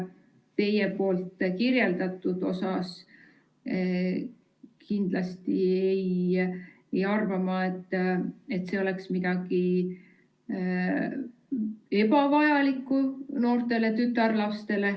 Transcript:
Teie kirjeldatu põhjal ma kindlasti ei arva, et see oleks midagi ebavajalikku noortele tütarlastele.